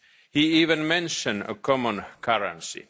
He even mentioned a common currency.